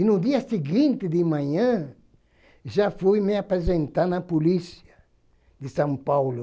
E no dia seguinte de manhã já fui me apresentar na polícia de São Paulo.